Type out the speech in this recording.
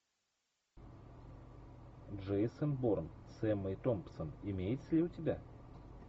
джейсон борн с эммой томпсон имеется ли у тебя